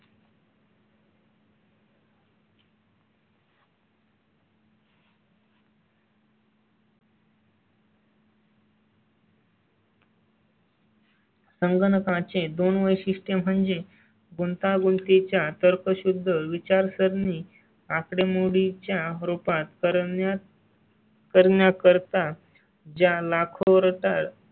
संगणकांचे दोन वैशिष्ट्य म्हणजे गुंतागुंती च्या तर्कशुद्ध विचारसरणी आकडेमोडीं च्या रूपात करण्यात. करण्याकरता ज्या लाखो वर